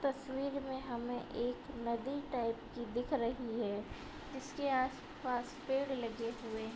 तस्वीर में हमें एक नदी टाइप की दिख रही है | जिसके आस-पास पेड़ लगे हुए --